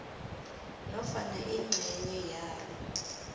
nofana ingcenye yalo